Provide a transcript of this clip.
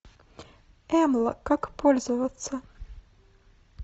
эмла как пользоваться